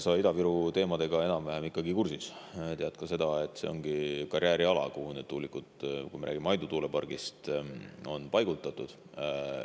Sa oled Ida-Viru teemadega ikkagi enam-vähem kursis, tead ka seda, et see on karjääriala, kuhu need tuulikud – kui me räägime Aidu tuulepargist – on paigutatud.